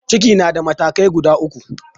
Ciki na da matakai guda uku.